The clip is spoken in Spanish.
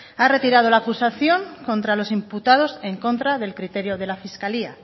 ha retirado la acusación contra los imputados en contra del criterio de la fiscalía